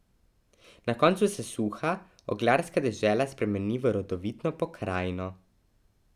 Na koncu se suha oglarska dežela spremeni v rodovitno pokrajino.